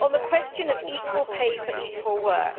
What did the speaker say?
On the question of equal pay for equal work,